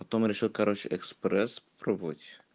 потом решил короче экспресс пробовать